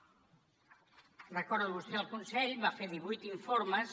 ho recorda vostè el consell va fer divuit informes